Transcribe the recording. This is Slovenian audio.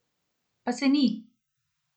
Pa se ni!